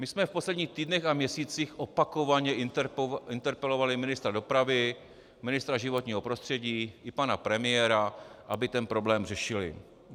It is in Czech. My jsme v posledních týdnech a měsících opakovaně interpelovali ministra dopravy, ministra životního prostředí i pana premiéra, aby ten problém řešili.